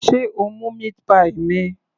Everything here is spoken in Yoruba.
Sé o mú meat pie mi?